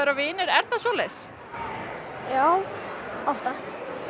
vinir er það svoleiðis já oftast